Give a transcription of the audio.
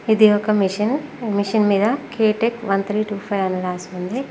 ఇది ఒక machine machine మీద K tech one three two five అని రాసి ఉంది.